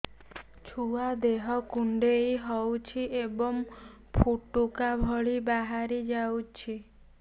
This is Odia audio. ଛୁଆ ଦେହ କୁଣ୍ଡେଇ ହଉଛି ଏବଂ ଫୁଟୁକା ଭଳି ବାହାରିଯାଉଛି